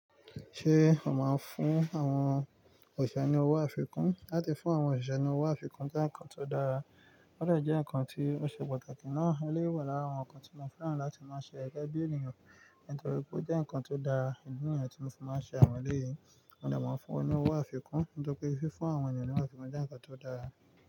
Ṣé ó máa ń fún àwọn òṣìṣẹ́ ní owó àfikún? Láti fún àwọn òṣìṣẹ́ ní owó àfikún jẹ́ nǹkan tó dára, ó dè jẹ́ nǹkan tí ó ṣe pàtàkì ná. Éléyi wà lára àwọn nǹkan tí mo fẹ́ràn láti máa ṣe gẹ́gẹ́ bí ènìyàn, nítorí pé ó jẹ́ nǹkan tó dára. Idi ni yen tí mo fi máa ń ṣe àwọn éleyì, o de máa fún won owó àfikún, nítorí pé fífún àwọn ènìyàn ní owó àfikún jẹ́ nǹkan tó dára.